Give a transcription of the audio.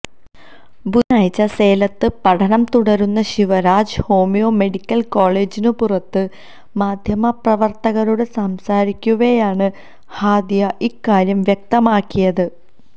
ബുധനാഴ്ച സേലത്ത് പഠനം തുടരുന്ന ശിവരാജ് ഹോമിയോ മെഡിക്കല് കോളേജിനുപുറത്ത് മാധ്യമപ്രവര്ത്തകരോട് സംസാരിക്കവേയാണ് ഹാദിയ ഇക്കാര്യം വ്യക്തമാക്കിയത്